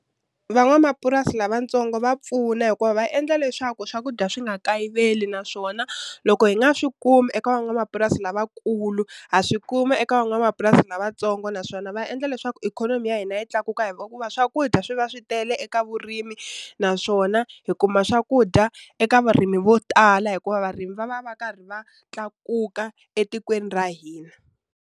Van'wamapurasi lavatsongo va pfuna hikuva va endla leswaku swakudya swi nga kayiveli naswona loko hi nga swi kumi eka van'wamapurasi lavakulu ha swi kuma eka van'wamapurasi lavatsongo naswona va endla leswaku ikhonomi ya hina yi tlakuka ku va swakudya swi va swi tele eka vurimi naswona hi kuma swakudya eka varimi vo tala hikuva varimi va va va karhi va tlakuka etikweni ra hina.